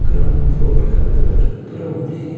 Ground floor का colour brown है।